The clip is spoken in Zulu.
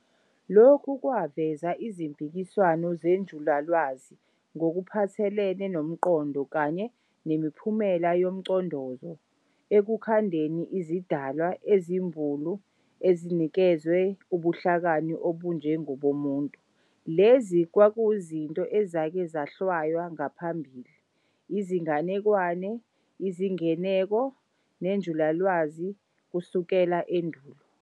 Lokhu kwavusa izimpikiswano zenjulalwazi ngokuphathelene nomqondo kanye nemiphumela yomcondozo ekukhandeni izidalwa ezimbulu ezinikezwe ubuhlakani obunje ngobomuntu, lezi kwakuzinto ezake zahlwaywa ngaphambili izinganekwane, izingeneko, nenjulalwazi kusukela endulo.